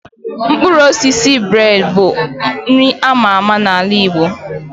Mkpụrụ osisi bred bụ nri a ma ama n'ala Igbo.